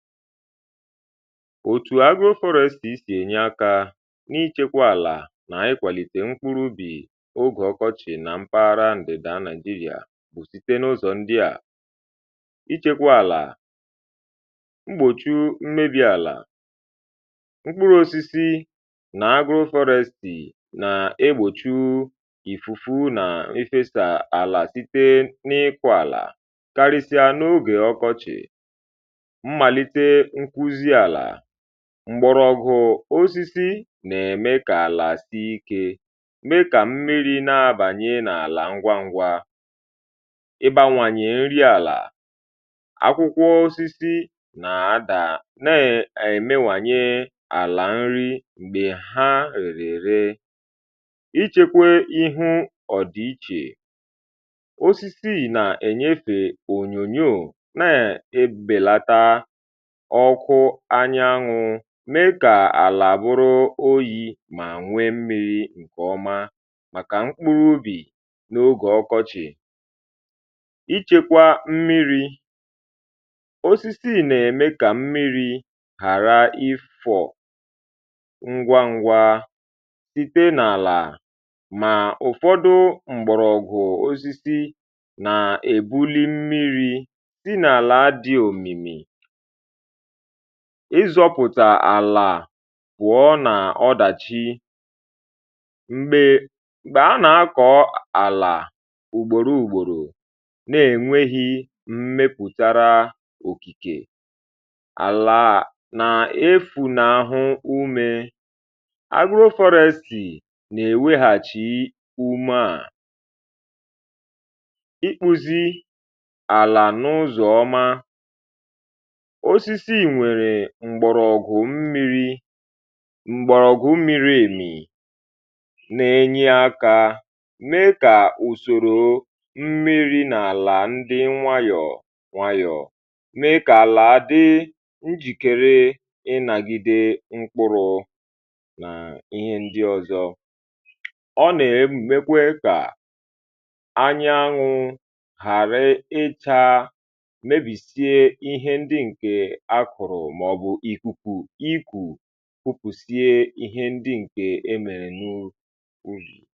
òtù agro-forest sì sì ènye akȧ n’ịchekwa àlà nà ikwàlìtè mkpụrụ ubì ogè ọkọchị̀ nà mpaghara ǹdị̀dà Nigeria bụ̀ site n’ụzọ ndị à ichekwa àlà mgbòchi mmebi̇ àlà mkpụrụ osisi nà agro-forest nà egbòchiù ìfùfù nà efesa àlà site n’ịkwa àlà karịsịa n’ogè ọkọchị̀ mgbọrọgwụ̀ osisi nà-ème kà àlà si ikė m̀me kà mmiri na-abànye n’àlà ngwa ngwa ịbȧwànyè nri àlà akwụkwọ̀ osisi nà-ada ne èmewànyè àlà nri m̀gbè ha èrè ree ichekwe ihu ọ̀dìichè osisi nà-ènyefè ònyònyò ọkụ anya nṅụ mee ka àlà bụrụ oyi ma nwee mmi̇ri̇ ǹkè ọma màkà mkpụrụ ubì n’ogè ọkọchị ịchekwa mmiri̇ osisi n’eme ka mmiri̇ ghara ifò ngwa ngwa site n’àlà mà ụ̀fọdụ mgbọ̀rọ̀gụ̀ osisi na-ebuli mmiri̇ sị n’àlà dị òmìmì ịzọpụta àlà pụọ n’ọdàchi m̀gbè a nà-akọ̀ àlà ùgbòro ùgbòrò nà-ènweghi mmepùtàrà òkìkè àlà a nà-efù n’ahụ ume agro-forest nà-ènweghi umeà ikpuzi àlà n’ụzọ ọma ǹgbòrògwu mmiri̇ m̀gbòrògwu mmiri èmì na-enye akȧ mee kà ùsòrò mmiri n’àlà ndị nwayọ̀ nwayọ̀ mee kà àlà dị njìkere ịnȧgide mkpụrụ nà ihe ndị ọ̀zọ ọ nà-emù mekwe kà anya aṅụ ghàra ịchȧ ikwù kupùsie ihe ndị ǹkè e mèrè nù ugù